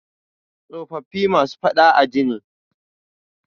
Tsofaffi masu faɗa a ji ne.